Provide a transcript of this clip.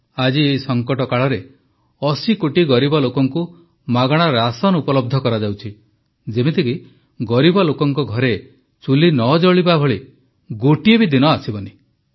ଆଜି ଏହି ସଙ୍କଟ କାଳରେ 80 କୋଟି ଗରିବ ଲୋକଙ୍କୁ ମାଗଣା ରାଶନ୍ ଉପଲବ୍ଧ କରାଯାଉଛି ଯେମିତିକି ଗରିବ ଲୋକଙ୍କ ଘରେ ଚୁଲି ନ ଜଳିବା ଭଳି ଗୋଟିଏ ଦିନ ମଧ୍ୟ ଆସିବ ନାହିଁ